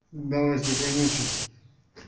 давай спокойной ночи